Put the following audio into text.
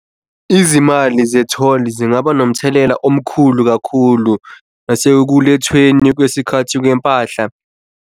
Izimali ze-toll zingaba nomthelela omkhulu kakhulu nasekukhethweni kwesikhathi kwempahla.